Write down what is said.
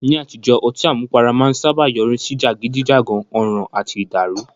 Ní àtijọ́, ọtí àmupara máa ń sáábà yọrí sí jàgídíjàgan, ọ̀ràn àti ìdàrù.